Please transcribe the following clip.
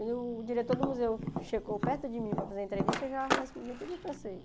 Quando o diretor do museu chegou perto de mim para fazer a entrevista, eu já respondia tudo em francês.